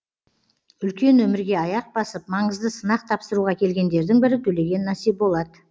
үлкен өмірге аяқ басып маңызды сынақ тапсыруға келгендердің бірі төлеген насиболат